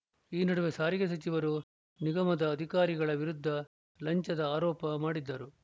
ಈ ನಡುವೆ ಸಾರಿಗೆ ಸಚಿವರು ನಿಗಮದ ಅಧಿಕಾರಿಗಳ ವಿರುದ್ಧ ಲಂಚದ ಆರೋಪ ಮಾಡಿದ್ದರು